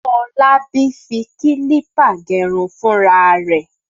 Fọlábí fi kílípà gẹrun fúnra rẹ̀.